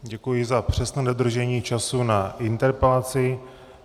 Děkuji za přesné dodržení času na interpelaci.